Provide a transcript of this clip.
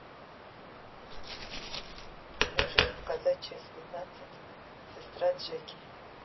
можешь показать часть пятнадцать сестра джеки